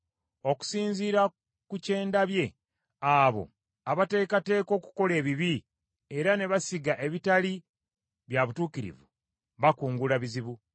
Okusinziira ku kyendabye; abo abateekateeka okukola ebibi era ne basiga ebitali bya butuukirivu, bakungula bizibu.